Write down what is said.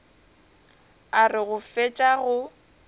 a re go fetša go